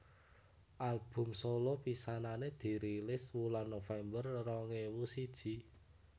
Album solo pisanané dirilis wulan November rong ewu siji